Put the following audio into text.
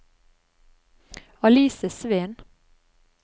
Alice Sveen